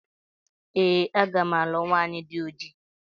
Ee aga m alụ nwanyị dị oji